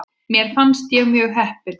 Mér fannst ég mjög heppin.